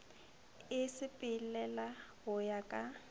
e sepelela go ya ka